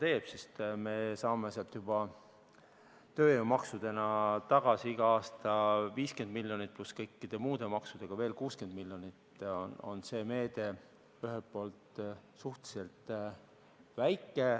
Aga me saame sealt juba tööjõumaksudena tagasi igal aastal 50 miljonit, koos kõikide muude maksudega veel 60 miljonit.